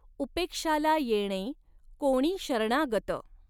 उपेक्षाला येणें कोणी शरणागत।